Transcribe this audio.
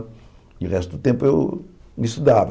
E o resto do tempo eu estudava.